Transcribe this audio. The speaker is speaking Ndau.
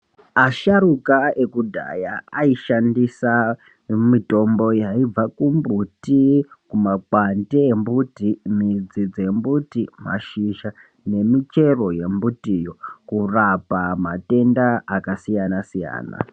Asharukwa ekudhaya aishandisa mitombo yaibva kumbuti, kumakwande embuti, midzi dzembuti, mashizha nemichero yembutiyo kurapa matenda akasiyana-siyana.